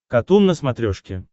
катун на смотрешке